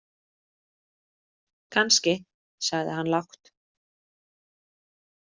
Kannski, sagði hann lágt.